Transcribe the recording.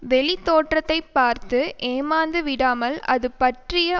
வெளித்தோற்றத்தைப் பார்த்து ஏமாந்து விடாமல் அதுபற்றிய